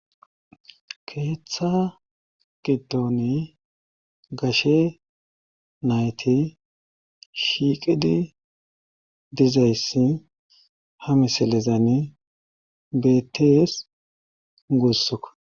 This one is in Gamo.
Keeththa gidoni gashe nayti shiiqidi dizayssi ha misilezani beettees gussu.